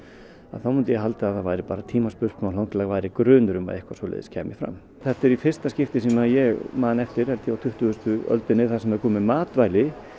þá myndi ég halda að það væri bara tímaspursmál þangað til væri grunur um að eitthvað svoleiðis kæmi fram þetta er í fyrsta skiptið sem ég man eftir á tuttugustu öldinni þar sem er komið matvæli